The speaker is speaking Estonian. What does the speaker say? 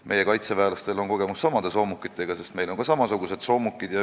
Meie kaitseväelased said sealt kogemusi nende soomukitega, meil on ju samasugused soomukid.